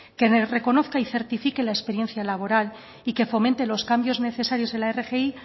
que reconozca y certifique la experiencia laboral y que fomente los cambios necesarios en la rgi